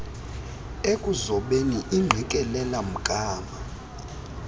ekuzobeni ingqikelela mgama